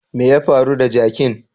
Me ya faru da jakin?